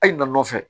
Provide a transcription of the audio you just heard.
Hali na nɔfɛ